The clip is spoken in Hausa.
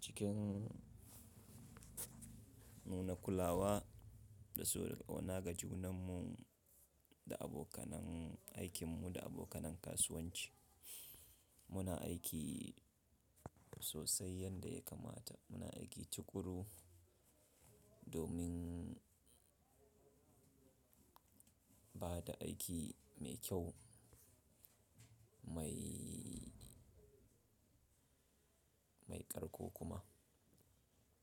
cikin nuna kulawa da so da ƙauna ga junanmu da abokan aikinmu da abokanin kasuwanci. Muna aiki sosai yadda ya kamata. Muna aiki tuƙuru domin bada aiki mai kyau mai, mai ƙarko kuma.